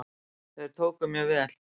Þeir tóku mér vel.